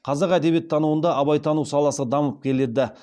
қазақ әдебиеттануында абайтану саласы дамып келеді